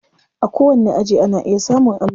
A kowanni aji ana iya samun allo.